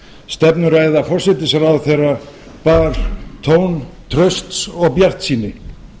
stefnuræða forsætisráðherra bar tón trausts og bjartsýni